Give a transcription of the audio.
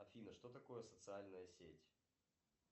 афина что такое социальная сеть